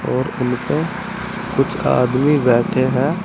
और उनका कुछ आदमी बैठे हैं।